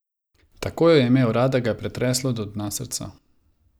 Tako jo je imel rad, da ga je pretreslo do dna srca.